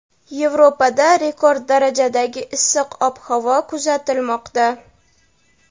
Yevropada rekord darajadagi issiq ob-havo kuzatilmoqda.